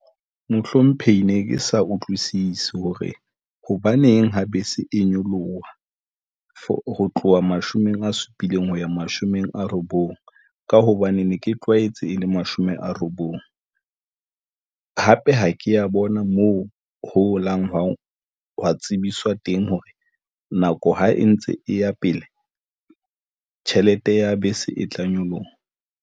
Mohlomphehi ne ke sa utlwisisi hore hobaneng ha bese e nyoloha. For ho tloha mashome a supileng ho ya mashome a robong, ka hobane ne ke tlwaetse e le mashome a robong. Hape, ha ke ya bona moo holang hwa tsebiswa teng, hore nako ha e ntse e ya pele, tjhelete ya bese e tla nyoloha.